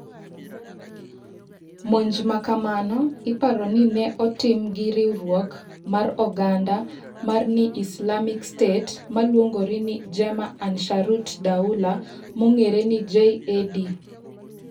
Monj makamano iparoni ni ne otim gi riwruok mar oganda mar ni Islamic State, maluongore ni Jemaah Ansharut Daulah (JAD).